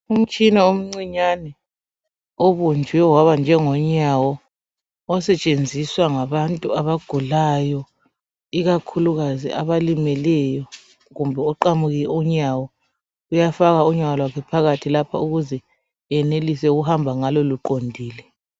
Umtshina omncinyane obunjwe waba njengonyawo osetshenziswa ngabantu abagulayo ikakhulukazi abalimeleyo kumbe oqamuke unyawo uyafaka unyawo lwakhe phakathi lapha ukuze enelise ukuhamba ngalo luqondile.